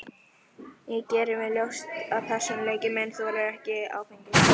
Ég geri mér ljóst að persónuleiki minn þolir ekki áfengi.